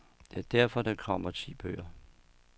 Det er derfor, der kommer ti bøger.